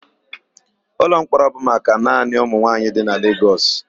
Ụlọmkpọrọ bụ maka naanị ụmụnwaanyị dị na Legọs.